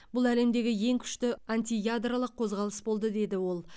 бұл әлемдегі ең күшті антиядролық қозғалыс болды деді ол